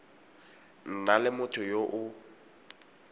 nna le motho yo o